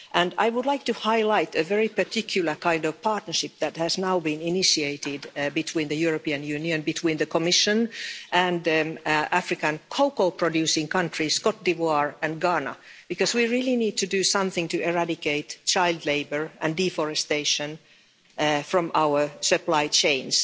I would like to highlight a very particular kind of partnership that has now been initiated between the European Union, between the Commission and African cocoa producing countries Cote d'Ivoire and Ghana because we really need to do something to eradicate child labour and deforestation from our supply chains.